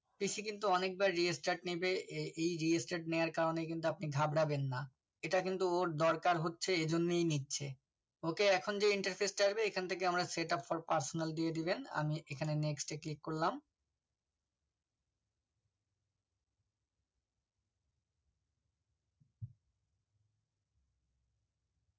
PC কিন্তু অনেকবার Restart নেবে এই Restart নেওয়ার কারণে কিন্তু আপনি ঘাবরাবেন না এটা কিন্তু ওর দরকার হচ্ছে ও এই জন্য নিচ্ছে ওকে এখন যে interface টা আসবে এখান থেকে setup for personal দিয়ে দিবেন আমি এখানে next এ click করলাম